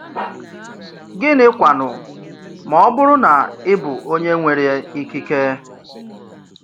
Gịnị kwánụ ma ọ bụrụ ná ị bụ onye nwèrè ikike?